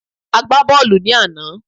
A gbà bọọlu ní àná